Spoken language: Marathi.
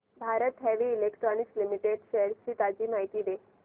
Bharat heavy electricals limited shares ची ताजी माहिती दे